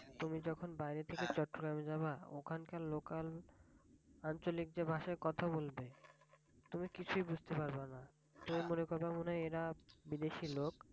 তুমি যখন বাইরে থেকে চট্রগ্রামে যাবা ওখানকার local আঞ্চলিক যে ভাষায় কথা বলবে তুমি কিছুই বুঝতে পারবেনা। তুমি মনে করবা এরা মনে হয় বিদেশী লোক।